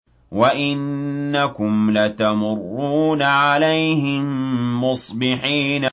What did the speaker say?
وَإِنَّكُمْ لَتَمُرُّونَ عَلَيْهِم مُّصْبِحِينَ